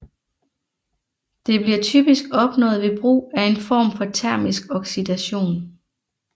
Det bliver typisk opnået ved brug af en form for termisk oxidation